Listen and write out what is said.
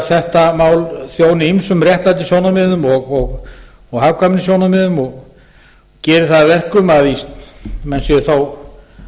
þetta mál þjóni ýmsum réttlætissjónarmiðum og hagkvæmnissjónarmiðum og geri það að verkum að menn séu þá